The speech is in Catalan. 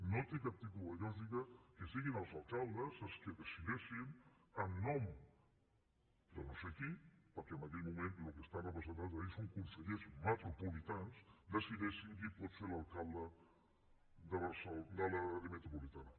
no té cap tipus de lògica que siguin els alcaldes els qui decideixin en nom de no sé qui perquè en aquell moment el que estan representant allí són consellers metropolitans ho decideixin qui pot ser l’alcalde de l’àrea metropolitana